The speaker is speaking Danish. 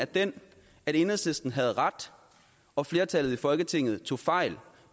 den at enhedslisten havde ret og flertallet i folketinget tog fejl